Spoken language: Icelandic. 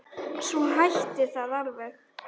Svo hætti það alveg.